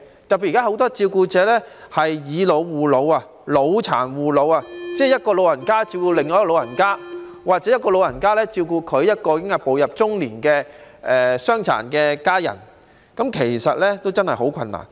特別是現時很多照顧者出現"以老護老"、"老殘護老"的情況，即一個長者照顧另一個長者，或一個長者照顧一個已步入中年的傷殘家人，其實真的很困難。